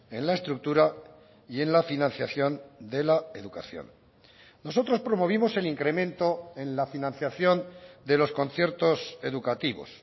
en la estructura y en la financiación de la educación nosotros promovimos el incremento en la financiación de los conciertos educativos